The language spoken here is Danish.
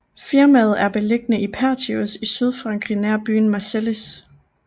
Firmaet er beliggende i Pertuis i Sydfrankrig nær byen Marseilles